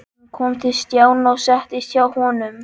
Hún kom til Stjána og settist hjá honum.